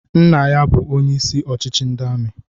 Nna ya bu onye isi ochichi ndị amị